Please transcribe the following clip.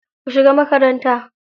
Ku shiga makaranta.